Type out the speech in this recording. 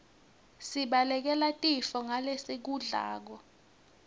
sibalekele tifo ngalesikudlako